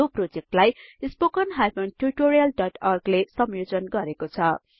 यो प्रोजेक्टलाई httpspoken tutorialorg ले संयोजन गरेको छ